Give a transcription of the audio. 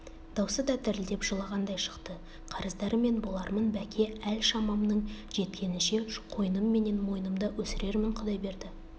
даусы да дірілдеп жылағандай шықты қарыздары мен болармын бәке әл-шамамның жеткенінше қойным менен мойнымда өсірермін құдайберді